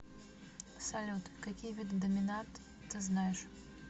салют какие виды доминат ты знаешь